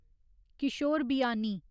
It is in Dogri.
किशोर बियानी